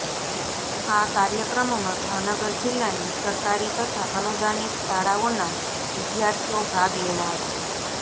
આ કાર્યક્રમમાં ભાવનગર જિલ્લાની સરકારી તથા અનુદાનિત શાળાઓના વિદ્યાર્થીઓ ભાગ લેનાર છે